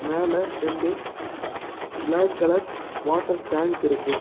மேல ரெண்டு black colour water tank இருக்கு.